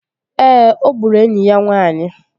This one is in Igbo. Ee, ọ gburu enyi ya nwaanyị